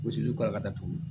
Zozani kalan ka taa tugun